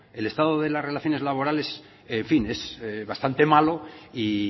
el estado de las relaciones laborales en fin es bastante malo y